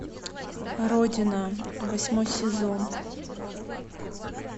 родина восьмой сезон